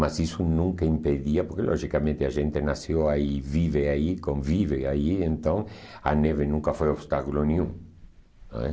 Mas isso nunca impedia, porque logicamente a gente nasceu aí, vive aí, convive aí, então a neve nunca foi obstáculo nenhum. Não é?